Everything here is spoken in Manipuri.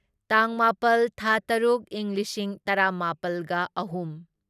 ꯇꯥꯡ ꯃꯥꯄꯜ ꯊꯥ ꯇꯔꯨꯛ ꯢꯪ ꯂꯤꯁꯤꯡ ꯇꯔꯥꯃꯥꯄꯜꯒ ꯑꯍꯨꯝ